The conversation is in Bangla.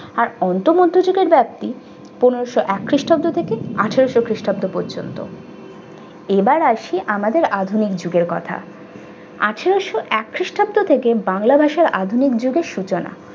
আর অন্ত মধ্যযুগের ব্যাপ্তি পনেরশো আট খ্রিস্টাব্দ থেকে আঠারশো খ্রিস্টাব্দ পর্যন্ত। এবার আসি আমাদের আধুনিক যুগের কথা আঠারসো এক খ্রিস্টাব্দ থেকে বাংলা ভাষার আধুনিক যুগের সূচনা।